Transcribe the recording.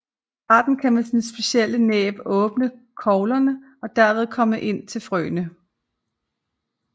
Arten kan med sit specielle næb åbne koglerne og derved komme til frøene